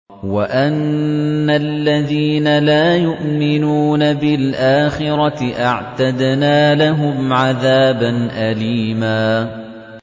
وَأَنَّ الَّذِينَ لَا يُؤْمِنُونَ بِالْآخِرَةِ أَعْتَدْنَا لَهُمْ عَذَابًا أَلِيمًا